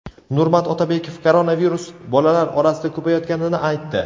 Nurmat Otabekov koronavirus bolalar orasida ko‘payayotganini aytdi.